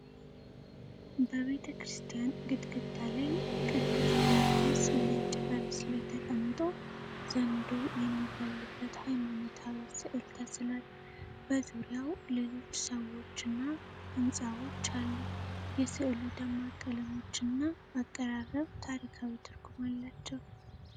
በቤተክርስቲያን ግድግዳ ላይ ቅዱስ ጊዮርጊስ ነጭ ፈረስ ላይ ተቀምጦ ዘንዶ የሚገድልበት ሃይማኖታዊ ስዕል ተስሏል። በዙሪያው ሌሎች ሰዎችና ሕንፃዎች አሉ። የስዕሉ ደማቅ ቀለሞችና አቀራረብ ታሪካዊ ትርጉም አላቸው።